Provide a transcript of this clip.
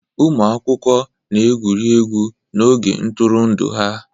Ụmụ akwụkwọ na-egwuri egwu n'oge ntụrụndụ ha